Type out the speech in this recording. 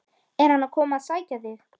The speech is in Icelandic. Er hann að koma að sækja þig?